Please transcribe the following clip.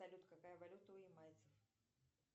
салют какая валюта у ямайцев